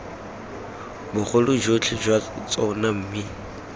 bogolo jotlhe jwa tsona mme